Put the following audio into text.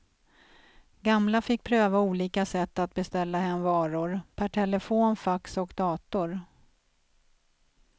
Gamla fick pröva olika sätt att beställa hem varor, per telefon, fax och dator.